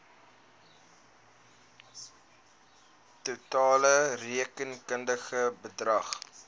totale rekenkundige bedrag